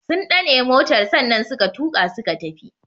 Sun dane motar sannan suka tuka suka tafi.